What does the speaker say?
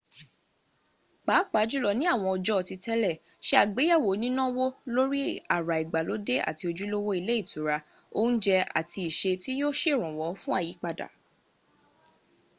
pàápàá jùlọ ní àwọn ọjọ́ ti tẹ́lẹ̀ se àgbéyẹ̀wò nínáwó lórí àrà ìgbàlódé àti ojúlówó ilé ìtura oúnjẹ àti iṣẹ́ tí yíó sèrànwọ́ fún àyípadà